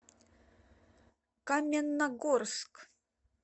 каменногорск